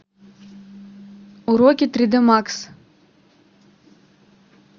уроки три дэ макс